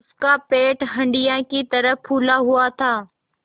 उसका पेट हंडिया की तरह फूला हुआ था